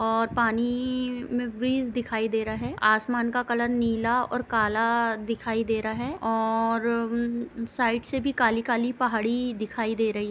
और पानी में ब्रीज दिखाई दे रहे है आसमान का कलर नीला और काला दिखाई दे रहा है और-र साइड से भी काली-काली पहाड़ी दिखाई दे रही --